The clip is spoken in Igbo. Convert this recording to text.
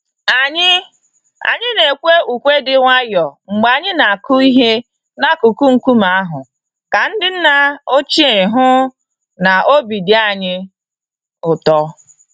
Anyị Anyị nekwe ùkwè dị nwayọọ mgbe anyị na-akụ ihe n'akụkụ nkume ahụ ka ndị nna ochie hụ n'obi dị anyị ụtọ.